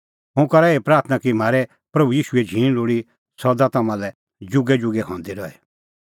हुंह करा एही प्राथणां कि म्हारै प्रभू ईशूए झींण लोल़ी तम्हां लै जुगैजुगै हंदी रही